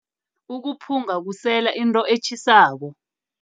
Ukuphunga, kusela into etjhisako.